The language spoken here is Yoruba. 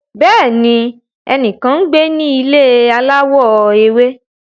Bẹẹni, ẹnikan ngbe ni ile alawọ ewe